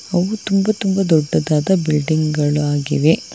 ಅವು ತುಂಬಾ ತುಂಬಾ ದೊಡ್ಡದಾದ ಬಿಲ್ಡಿಂಗ್ ಗಳು ಆಗಿವೆ.